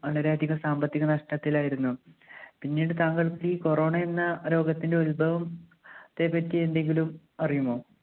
വളരെയധികം സാമ്പത്തിക നഷ്ടത്തിലായിരുന്നു. പിന്നീട് താങ്കൾ ഈ corona എന്ന രോഗത്തിന്റെ ഉത്ഭവം ത്തെപ്പറ്റി എന്തെങ്കിലും അറിയുമോ?